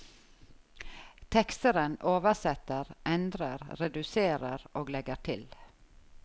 Teksteren oversetter, endrer, reduserer og legger til.